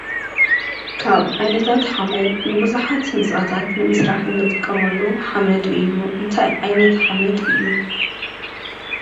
ካብ ዓይነታት ሓመድ ንቡዙሓት ህንፃታት ንምስራሕ እንጥቀመሉ ሓመድ እዩ፡፡ እንታይ ዓይነት ሓመድ እዩ?